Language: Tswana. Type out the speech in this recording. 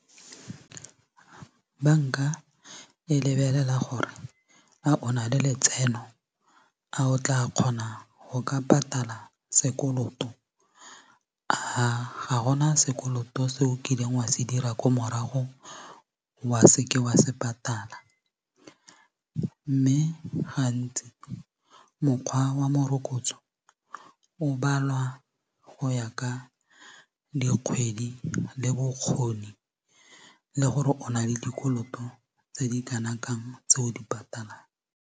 Bank-a e lebelela gore a o na le letseno a o tla kgona go ka patala sekoloto a ga gona sekoloto se o kileng wa se dira ko morago wa seke wa se patala mme gantsi mokgwa wa morokotso o balwa go ya ka dikgwedi le bokgoni le bokgoni le gore o na le dikoloto tse di kana kang tse o di patalang.